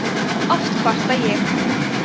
oft kvarta ég